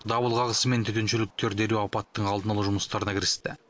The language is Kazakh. дабыл қағысымен төтеншеліктер дереу апаттың алдын алу жұмыстарына кірісті